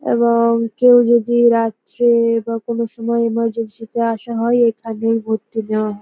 এবং কেউ যদি রাত্রে বা কোন সময় এমারজেন্সি -তে আসা হয় এখানেই ভর্তি নেওয়া হ--